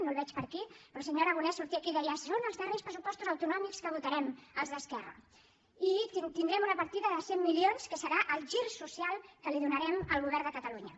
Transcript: no el veig per aquí però el senyor aragonès sortia aquí i deia són els darrers pressupostos autonòmics que votarem els d’esquerra i tindrem una partida de cent milions que serà el gir social que li donarem al govern de catalunya